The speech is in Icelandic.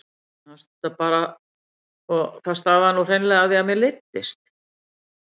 Mér fannst þetta bara og það stafaði nú hreinlega af því að mér leiddist.